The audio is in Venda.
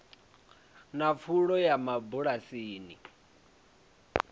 na pfulo ya mabulasi i